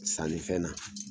Sannifɛn na